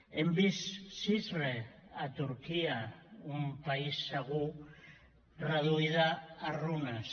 hem vist cizre a turquia un país segur reduïda a runes